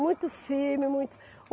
Muito firme, muito.